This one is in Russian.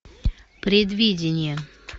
предвидение